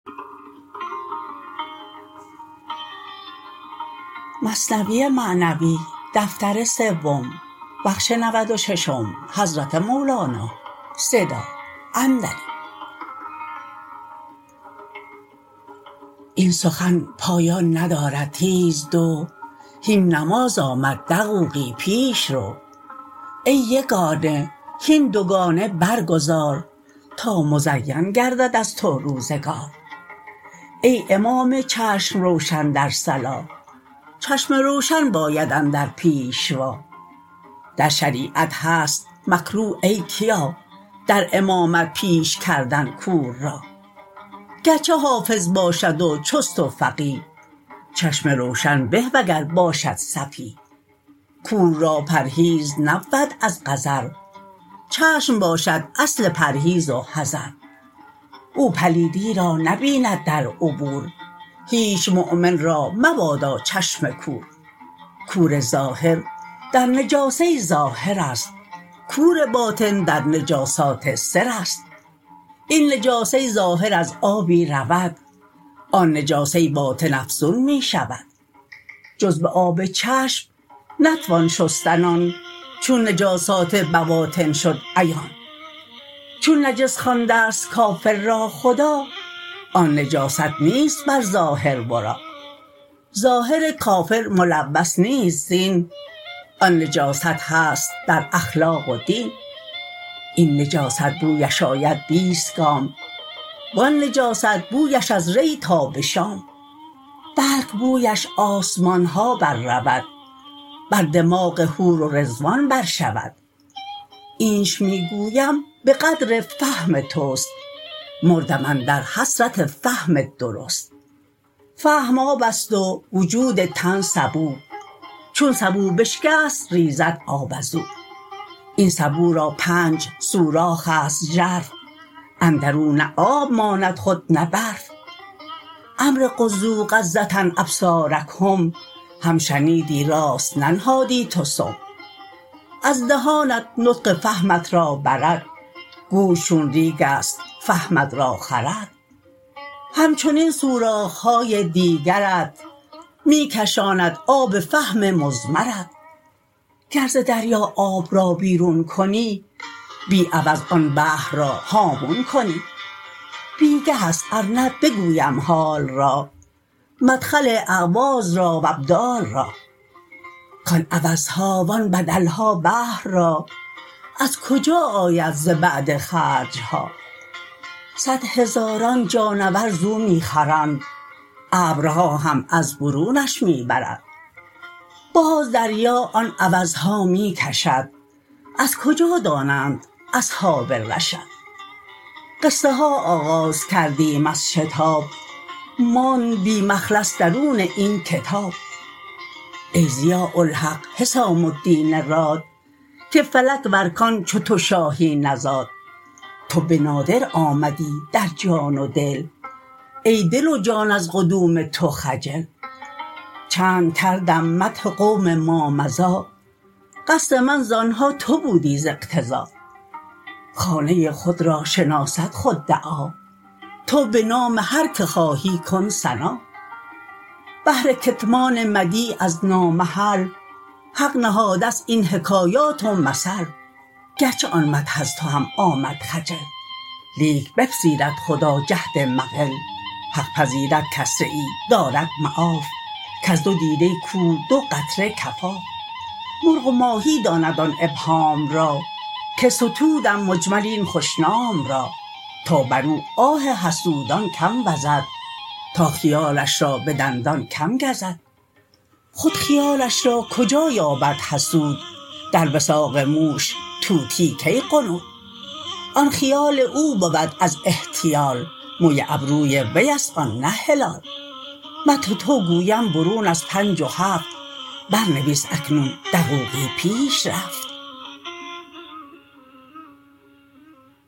این سخن پایان ندارد تیز دو هین نماز آمد دقوقی پیش رو ای یگانه هین دوگانه بر گزار تا مزین گردد از تو روزگار ای امام چشم روشن در صلا چشم روشن باید ایدر پیشوا در شریعت هست مکروه ای کیا در امامت پیش کردن کور را گرچه حافظ باشد و چست و فقیه چشم روشن به وگر باشد سفیه کور را پرهیز نبود از قذر چشم باشد اصل پرهیز و حذر او پلیدی را نبیند در عبور هیچ مؤمن را مبادا چشم کور کور ظاهر در نجاسه ظاهرست کور باطن در نجاسات سرست این نجاسه ظاهر از آبی رود آن نجاسه باطن افزون می شود جز به آب چشم نتوان شستن آن چون نجاسات بواطن شد عیان چون نجس خواندست کافر را خدا آن نجاست نیست بر ظاهر ورا ظاهر کافر ملوث نیست زین آن نجاست هست در اخلاق و دین این نجاست بویش آید بیست گام و آن نجاست بویش از ری تا به شام بلک بویش آسمانها بر رود بر دماغ حور و رضوان بر شود اینچ می گویم به قدر فهم تست مردم اندر حسرت فهم درست فهم آبست و وجود تن سبو چون سبو بشکست ریزد آب ازو این سبو را پنج سوراخست ژرف اندرو نه آب ماند خود نه برف امر غضوا غضة ابصارکم هم شنیدی راست ننهادی تو سم از دهانت نطق فهمت را برد گوش چون ریگست فهمت را خورد همچنین سوراخهای دیگرت می کشاند آب فهم مضمرت گر ز دریا آب را بیرون کنی بی عوض آن بحر را هامون کنی بیگهست ار نه بگویم حال را مدخل اعواض را و ابدال را کان عوضها و آن بدلها بحر را از کجا آید ز بعد خرجها صد هزاران جانور زو می خورند ابرها هم از برونش می برند باز دریا آن عوضها می کشد از کجا دانند اصحاب رشد قصه ها آغاز کردیم از شتاب ماند بی مخلص درون این کتاب ای ضیاء الحق حسام الدین راد که فلک و ارکان چو تو شاهی نزاد تو به نادر آمدی در جان و دل ای دل و جان از قدوم تو خجل چند کردم مدح قوم ما مضی قصد من زانها تو بودی ز اقتضا خانه خود را شناسد خود دعا تو بنام هر که خواهی کن ثنا بهر کتمان مدیح از نا محل حق نهادست این حکایات و مثل گرچه آن مدح از تو هم آمد خجل لیک بپذیرد خدا جهد المقل حق پذیرد کسره ای دارد معاف کز دو دیده کور دو قطره کفاف مرغ و ماهی داند آن ابهام را که ستودم مجمل این خوش نام را تا برو آه حسودان کم وزد تا خیالش را به دندان کم گزد خود خیالش را کجا یابد حسود در وثاق موش طوطی کی غنود آن خیال او بود از احتیال موی ابروی ویست آن نه هلال مدح تو گویم برون از پنج و هفت بر نویس اکنون دقوقی پیش رفت